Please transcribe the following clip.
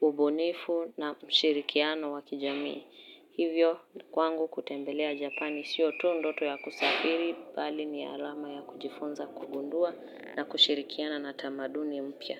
ubunifu na mshirikiano wakijamii. Hivyo kwangu kutembelea Japani sio tu ndoto ya kusafiri, bali ni alama ya kujifunza kugundua na kushirikiana na tamaduni mpya.